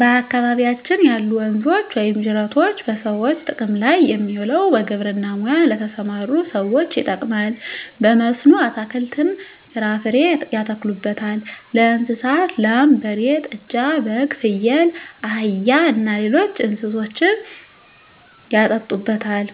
በአካባቢያችን ያሉ ወንዞች ወይም ጅረቶች በሰዎች ጥቅም ላይ የሚውለው በግብርና ሙያ ለተሠማሩ ሠዎች ይጠቅማል። በመስኖ አትክልትን፣ ፍራፍሬ ያተክሉበታል። ለእንስሳት ላም፣ በሬ፣ ጥጃ፣ በግ፣ ፍየል፣ አህያ እና ሌሎች እንስሶችን ያጠጡበታል፣